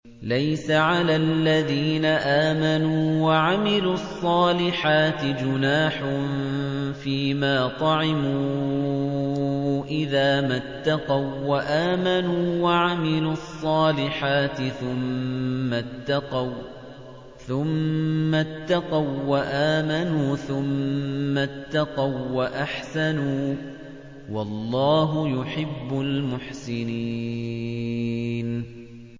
لَيْسَ عَلَى الَّذِينَ آمَنُوا وَعَمِلُوا الصَّالِحَاتِ جُنَاحٌ فِيمَا طَعِمُوا إِذَا مَا اتَّقَوا وَّآمَنُوا وَعَمِلُوا الصَّالِحَاتِ ثُمَّ اتَّقَوا وَّآمَنُوا ثُمَّ اتَّقَوا وَّأَحْسَنُوا ۗ وَاللَّهُ يُحِبُّ الْمُحْسِنِينَ